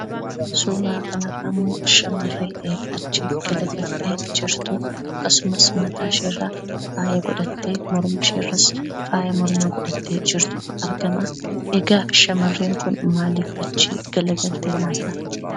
Suuraa kanarraammoo shamarree achi garagaltee jirtuu akkasumas mataashii irra faaya godhattee mormashiirras faaya mormaa godhattee jirtutu argamaa, egaa shamarreen kun maaliif achi garagalte laata?